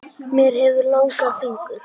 Ég hef langa fingur.